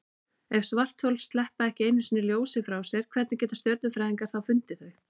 Ef svarthol sleppa ekki einu sinni ljósi frá sér, hvernig geta stjörnufræðingar þá fundið þau?